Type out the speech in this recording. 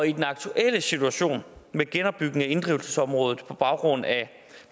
i den aktuelle situation med genopbygning af inddrivelsesområdet på baggrund af